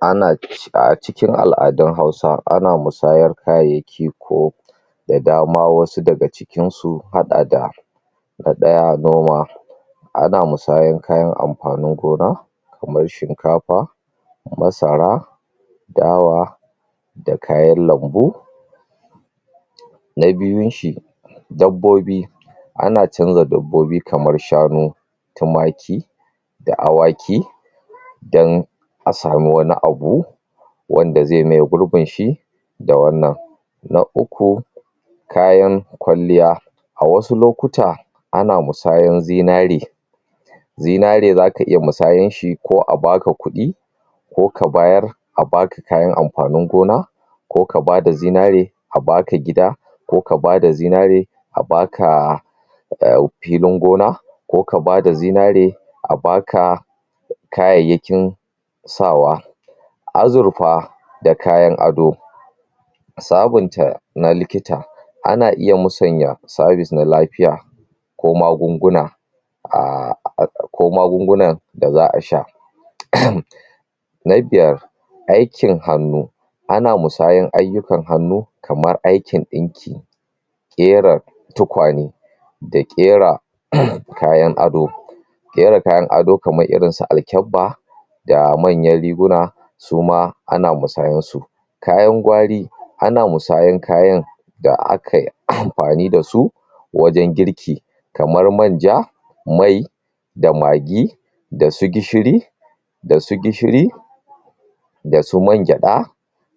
Ana...A cikin al'adun Hausa, ana musayar kayayyaki ko da dama, wasu daga cikinsu sun haɗa da, na ɗaya, noma. Ana musayar kayan amfanin gona kamar shinkafa, masara, dawa da kayan lambu. Na biyun shi, dabbobi. Ana canza dabbobi kamar shanu, tumaki da awaki don a samu wani abu wanda zai maye gurbin shi da wannan. Na uku, kayan kwalliya. A wasu lokuta, ana musayan zinare zinare za ka iya musayan shi ko a ba ka kuɗi, ko ka bayar a ba ka kayan amfanin gona ko ka ba ka da zinare a ba ka gida, ko ka ba da zinare a ba ka um filin gona, ko ka ba da zinare a ba ka kayayyakin sawa. Azurfa da kayan ado sabunta na likita, ana iya musanya sabis na lafiya ko magunguna a ko magungunan da za a sha um Na biyar, aikin hannu. Ana musayan ayyukan hannu kamar aikin ɗinki ƙera tukwane da ƙera kayan ado Ƙera kayan ado kamar irin su alkyabba da manyan riguna, su ma ana musayar su Kayan gwari, ana musayan kayan da akai amfani da su wajen girki kamar manja, mai da magi, da su gishiri da su gishiri da su mangyaɗa